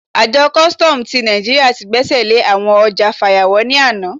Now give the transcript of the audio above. Àjọ kùstọ̀m ti Naijiria ti gbẹ́sẹ̀ lé àwọn ọjà fàyàwọ́ ní àná.